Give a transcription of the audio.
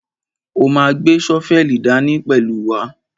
A ma gbé ṣọ́fẹ́lì dání pẹ̀lú wa.